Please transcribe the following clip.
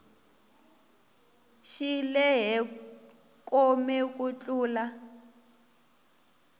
xi lehe kome ku tlula